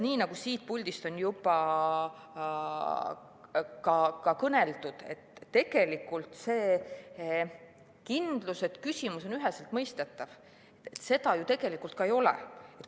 Nii nagu siit puldist on juba ka kõneldud, tegelikult seda kindlust, et küsimus on üheselt mõistetav, ju tegelikult ei ole.